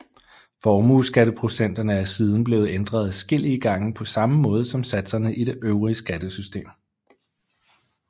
Formueskatteprocenterne er siden blevet ændret adskillige gange på samme måde som satserne i det øvrige skattesystem